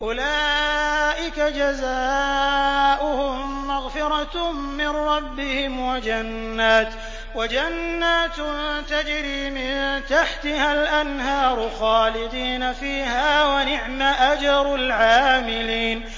أُولَٰئِكَ جَزَاؤُهُم مَّغْفِرَةٌ مِّن رَّبِّهِمْ وَجَنَّاتٌ تَجْرِي مِن تَحْتِهَا الْأَنْهَارُ خَالِدِينَ فِيهَا ۚ وَنِعْمَ أَجْرُ الْعَامِلِينَ